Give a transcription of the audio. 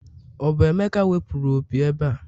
o bu emeka wepuru opi ebe a?